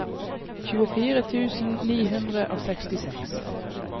tjuefire tusen ni hundre og sekstiseks